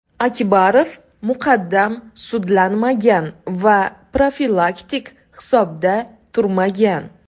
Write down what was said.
Akbarov muqaddam sudlanmagan va profilaktik hisobda turmagan.